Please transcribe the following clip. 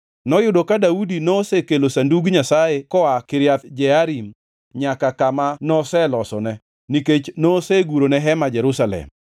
Noyudo ka Daudi nosekelo Sandug Nyasaye koa Kiriath Jearim nyaka kama noselosone, nikech nosegurone hema Jerusalem.